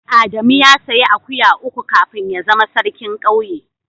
Adamu ya sayi akuya uku kafin ya zama sarkin kauye.